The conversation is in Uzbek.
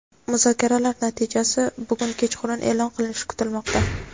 Muzokaralar natijasi bugun kechqurun e’lon qilinishi kutilmoqda.